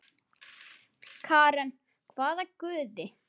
Karen: hvaða guði?